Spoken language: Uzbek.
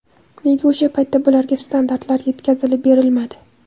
Nega o‘sha paytda bularga standartlar yetkazilib berilmadi?